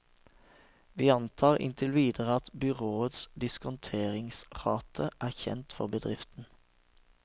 Vi antar inntil videre at byråets diskonteringsrate er kjent for bedriften.